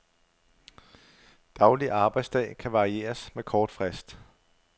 Daglig arbejdsdag kan varieres med kort frist.